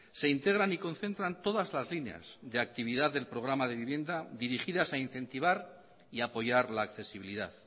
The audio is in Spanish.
se integran y concentran todas las líneas de actividad del programa de vivienda dirigidas a incentivar y apoyar la accesibilidad